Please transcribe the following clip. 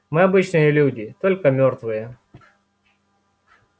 мы обычные люди только мёртвые